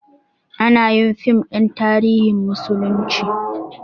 Anayin fim ɗin tarihin musulunci